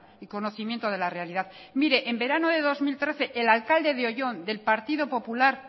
y conocimiento de la realidad mire en verano de dos mil trece el alcalde de oyón del partido popular